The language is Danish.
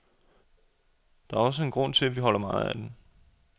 Det er også en grund til, at vi holder meget af den.